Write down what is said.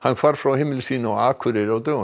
hvarf frá heimili sínu á Akureyri á dögunum